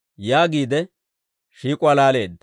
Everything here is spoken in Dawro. yaagiide shiik'uwaa laaleedda.